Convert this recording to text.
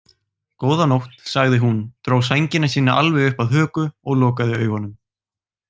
Góða nótt, sagði hún, dró sængina sína alveg upp að höku og lokaði augunum.